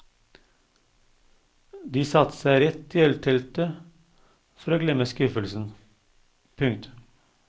De satte seg rett i ølteltet for å glemme skuffelsen. punktum